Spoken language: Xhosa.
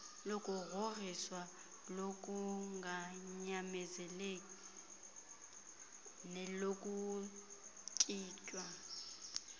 lokugrhogrhiswa lokunganyamezeli nelokuntswinywa